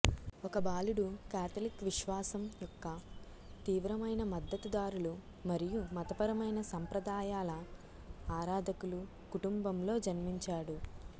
ఒక బాలుడు కాథలిక్ విశ్వాసం యొక్క తీవ్రమైన మద్దతుదారులు మరియు మతపరమైన సంప్రదాయాల ఆరాధకులు కుటుంబంలో జన్మించాడు